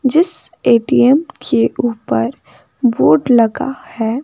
जिस ए_टी_एम के ऊपर बोर्ड लगा है।